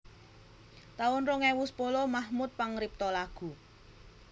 taun rong ewu sepuluh Mahmud pangripta lagu